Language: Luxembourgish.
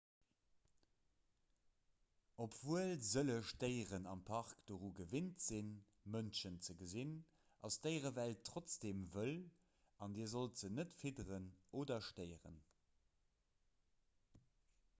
obwuel sëlleg déieren am park doru gewinnt sinn mënschen ze gesinn ass d'déierewelt trotzdeem wëll an dir sollt se net fidderen oder stéieren